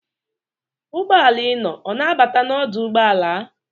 Ụgbọala ị nọ ọ na-abata n'odụ ụgbọala?